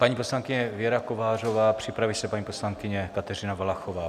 Paní poslankyně Věra Kovářová, připraví se paní poslankyně Kateřina Valachová.